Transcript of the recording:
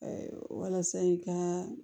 walasa i ka